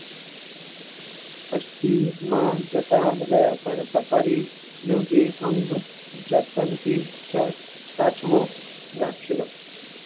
taxi માં જતા રહ્યા પણ safari નો એ અંક જતનથી સાચવી રાખેલો.